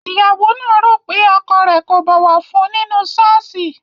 Ìyàwó náà rò pé ọkọ rẹ̀ kò bọ̀wọ̀ fún un nínú ṣọ́ọ̀ṣì